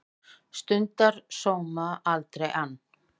Stundar sóma, aldrei ann